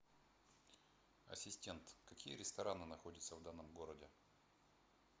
ассистент какие рестораны находятся в данном городе